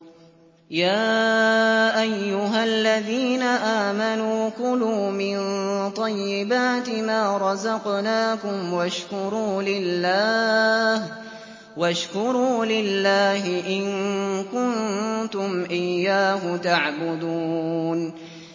يَا أَيُّهَا الَّذِينَ آمَنُوا كُلُوا مِن طَيِّبَاتِ مَا رَزَقْنَاكُمْ وَاشْكُرُوا لِلَّهِ إِن كُنتُمْ إِيَّاهُ تَعْبُدُونَ